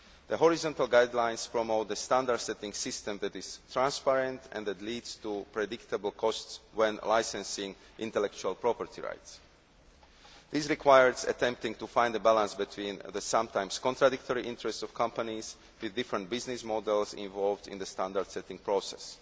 The horizontal guidelines promote a standard setting system that is transparent and that leads to predictable costs when licensing intellectual property rights. This requires attempting to find a balance between the sometimes contradictory interests of companies with different business models involved in the standard setting process.